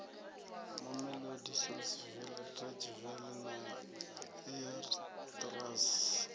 mamelodi saulsville atteridgeville na eersterus